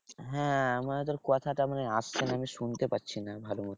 হ্যাঁ মানে তোর কথাটা মানে আবঝা মানে শুনতে পাচ্ছি না ভালো মতো।